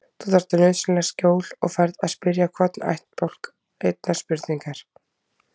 Þú þarft nauðsynlega skjól og færð að spyrja hvorn ættbálk einnar spurningar.